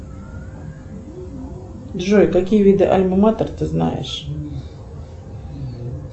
джой какие виды альмаматер ты знаешь